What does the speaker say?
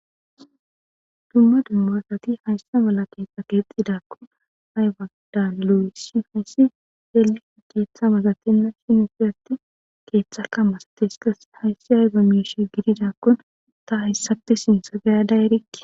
Dumma dummaasati hayssa mala keeththa keexxidakkon haywadan lo7usi hayssi yeli keeththa masatenna shin ufiyati keeththaka masates kas hayssi haybamieshe gididakkon ta hayssate sinsagayada erikki.